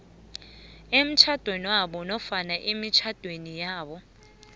emtjhadwenabo nofana emitjhadwenabo